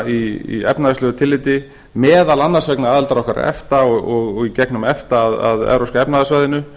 í efnahagslegu tilliti meðal annars vegna aðildar okkar að efta og í gegnum efta að evrópska efnahagssvæðinu